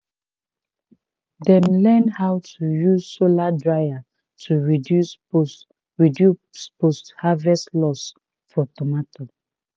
dem learn how to use solar dryer to reduce post reduce post harvest loss for tomato